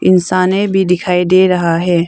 इंसाने भी दिखाई दे रहा हैं।